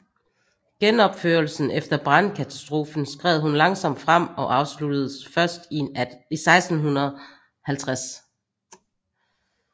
Genopførelsen efter brandkatastrofen skred kun langsomt frem og afsluttedes først i 1650